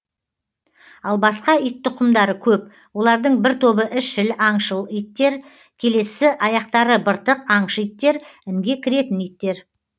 ал басқа ит тұқымдары көп олардың бір тобы ізшіл аңшы иттер келесі аяқтары быртық аңшы иттер інге кіретін иттер